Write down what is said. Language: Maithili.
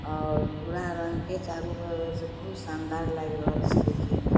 और भूरा रंग के चारु बगल से बहुत शानदार लायग रहल छे देखे में।